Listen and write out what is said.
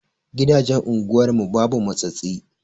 Gidajen unguwar mu babu matsatsi.